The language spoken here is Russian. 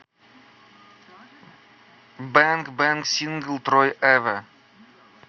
бэнг бэнг сингл трой эвэ